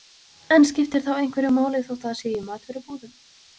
En skiptir þá einhverju máli þótt það sé í matvörubúðum?